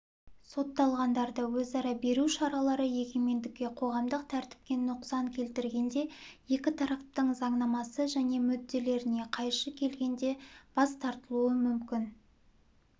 сотталғандарды өзара беру шаралары егемендікке қоғамдық тәртіпке нұқсан келтіргенде екі тараптың заңнамасына және мүдделеріне қайшы келгенде бас тартылуы мүмкін